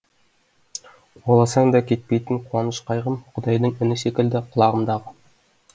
қуаласаң да кетпейтін қуаныш қайғым құдайдың үні секілді құлағымдағы